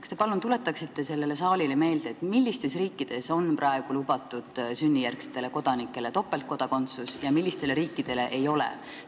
Kas te palun tuletaksite sellele saalile meelde, mis riikides on praegu lubatud sünnijärgsetele kodanikele topeltkodakondsus ja mis riikides ei ole?